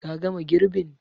Ka gama girbin?